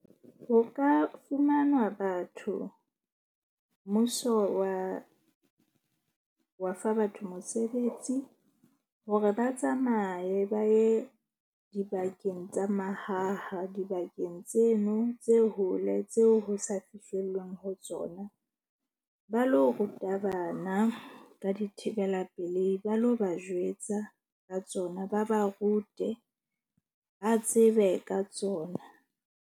Ho ka fumanwa batho mmuso wa fa batho mosebetsi hore ba tsamaye ba ye dibakeng tsa mahaha. Dibakeng tseno tse hole tseo ho sa fihlellwang ho tsona. Ba lo ruta bana ka dithibela pelehi ba lo ba jwetsa ka tsona, ba ba rute ba tsebe ka tsona.